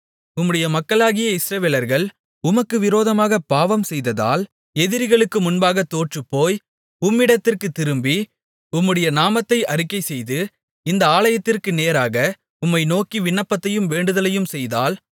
உம்முடைய மக்களாகிய இஸ்ரவேலர்கள் உமக்கு விரோதமாகப் பாவம் செய்ததால் எதிரிகளுக்கு முன்பாக தோற்றுப்போய் உம்மிடத்திற்குத் திரும்பி உம்முடைய நாமத்தை அறிக்கைசெய்து இந்த ஆலயத்திற்கு நேராக உம்மை நோக்கி விண்ணப்பத்தையும் வேண்டுதலையும் செய்தால்